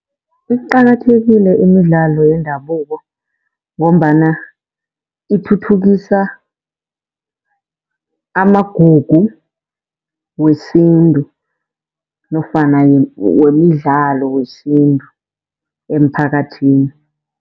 Iqakathekile imidlalo yendabuko ngombana ithuthukisa amagugu wesintu nofana wemidlalo wesintu emphakathini.